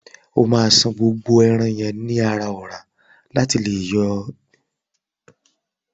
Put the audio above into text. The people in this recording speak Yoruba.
O ma ṣàn gbogbo ẹran yẹn nínú ọra lati fi le yọ iyèpè lara e.